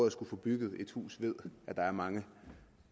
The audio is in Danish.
at skulle få bygget et hus ved at der er mange